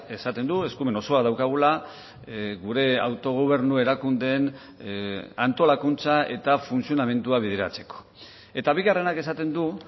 esaten du eskumen osoa daukagula gure autogobernu erakundeen antolakuntza eta funtzionamendua bideratzeko eta bigarrenak esaten du